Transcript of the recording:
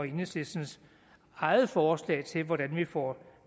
enhedslistens eget forslag til hvordan vi får